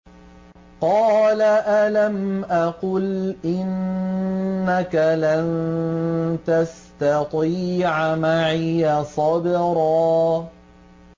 قَالَ أَلَمْ أَقُلْ إِنَّكَ لَن تَسْتَطِيعَ مَعِيَ صَبْرًا